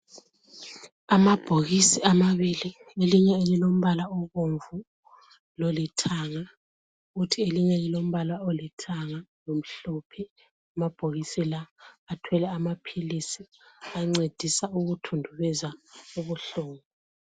Amabhokisi amabili elinye elilombala obomvu lolithanga kuthi elinye lilombala olithanga lomhlophe amabhokisi la athwele amaphilisi ancedisa ukuthundubeza ubuhlungu.